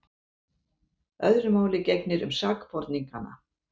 Öðru máli gegnir um sakborningana.